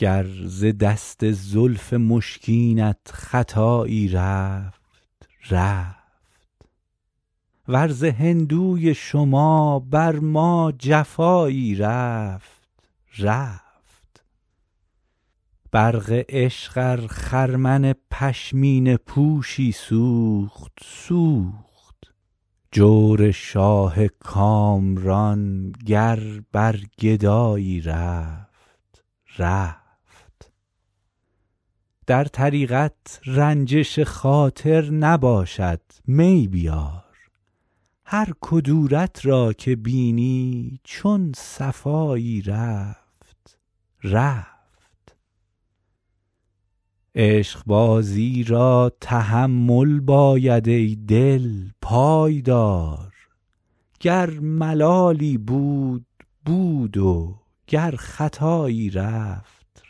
گر ز دست زلف مشکینت خطایی رفت رفت ور ز هندوی شما بر ما جفایی رفت رفت برق عشق ار خرمن پشمینه پوشی سوخت سوخت جور شاه کامران گر بر گدایی رفت رفت در طریقت رنجش خاطر نباشد می بیار هر کدورت را که بینی چون صفایی رفت رفت عشقبازی را تحمل باید ای دل پای دار گر ملالی بود بود و گر خطایی رفت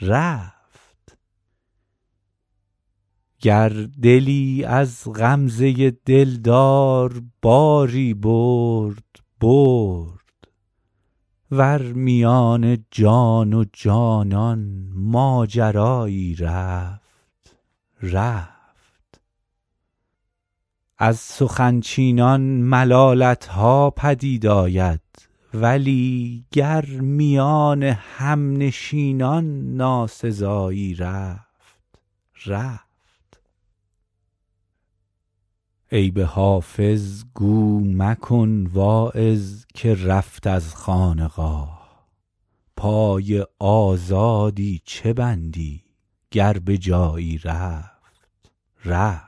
رفت گر دلی از غمزه دلدار باری برد برد ور میان جان و جانان ماجرایی رفت رفت از سخن چینان ملالت ها پدید آمد ولی گر میان همنشینان ناسزایی رفت رفت عیب حافظ گو مکن واعظ که رفت از خانقاه پای آزادی چه بندی گر به جایی رفت رفت